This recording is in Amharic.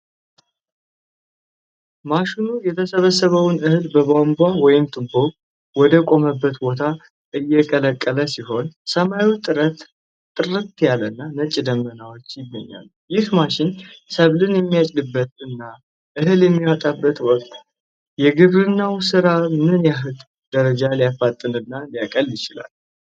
ማሽኑ የተሰበሰበውን እህል በቧንቧ/ቱቦ ወደ ቆመበት ቦታ እየለቀቀ ሲሆን፣ ሰማዩ ጥርት ያለና ነጭ ደመናዎች ይገኛሉ። ይህ ማሽን ሰብልን በሚያጭድበት እና እህል በሚያወጣበት ወቅት፣ የግብርናውን ሥራ በምን ያህል ደረጃ ሊያፋጥን እና ሊያቀል ይችላል?